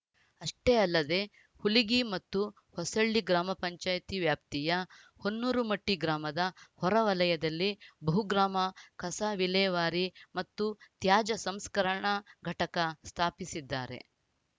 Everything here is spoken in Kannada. ಅಷ್ಟೇ ಅಲ್ಲದೆ ಹುಲಿಗಿ ಮತ್ತು ಹೊಸಳ್ಳಿ ಗ್ರಾಮ ಪಂಚಾಯತ್ ವ್ಯಾಪ್ತಿಯ ಹೊನ್ನೂರುಮಟ್ಟಿಗ್ರಾಮದ ಹೊರ ವಲಯದಲ್ಲಿ ಬಹುಗ್ರಾಮ ಕಸ ವಿಲೇವಾರಿ ಮತ್ತು ತ್ಯಾಜ್ಯ ಸಂಸ್ಕರಣಾ ಘಟಕ ಸ್ಥಾಪಿಸಿದ್ದಾರೆ